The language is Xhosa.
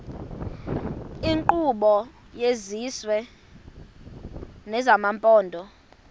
iinkqubo zesizwe nezamaphondo